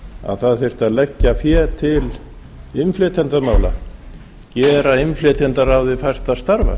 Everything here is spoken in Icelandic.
að það þyrfti að leggja fé til innflytjendamála gera innflytjendaráði fært að starfa